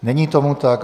Není tomu tak.